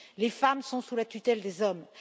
Les femmes sont sous la tutelle des hommes